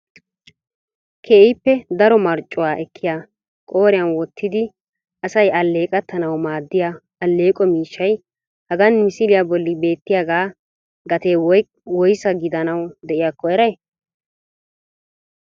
Keehippe daro marccuwa ekkiya qooriyan wottidi asay alleeqetanawu maaddiya alleeqo miishshay hagan misiliyaa bolli beettiyaaga gatee woyssa gidanawu de'iyakko eray?